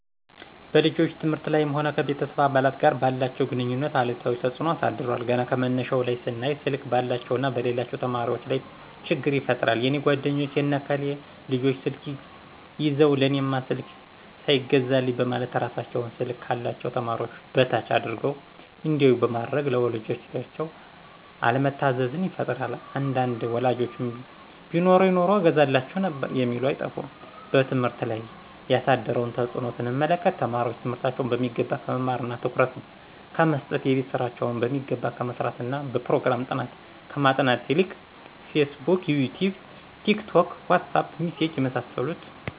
በልጆች ትምህርት ላይም ሆነ ከቤተሰብ አባላት ጋር ባላቸው ግንኙነት አሉታዊ ተጽኖ አሳድሯል ገና ከመነሻው ላይ ስናይ ስልክ ባላቸውና በሌላቸው ተማሪወች ላይ ችግር ይፈጥራል የኔ ጓደኞች የነ ከሌ ልጆች ስልክ ይዘው ለእኔማ ስልክ ሳይገዛልኝ በማለት እራሳቸውን ስልክ ካላቸው ተማሪዎች በታች አድርገው እንዲያዮ በማድረግ ለወላጆቻቸው አለመታዘዝን ይፈጥራል አንዳንድ ወላጆችም ቢኖረኝ ኑሮ እገዛላቸው ነበር የሚሉ አይጠፉም። በትምህርት ላይ ያሳደረውን ተጽኖ ስንመለከት ተማሪወች ትምህርታቸውን በሚገባ ከመማርና ትኩረት ከመሰጠት :የቤት ስራቸውን በሚገባ ከመስራትና በጵሮግራም ጥናት ከማጥናት ይልቅ ፌስቡክ :ይቲዩብ :ቲክቶክ: ዋትሳጵ: ሚሴጅ የመሳሰሉት